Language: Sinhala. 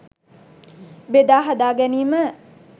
බෙදා හදා ගැනීම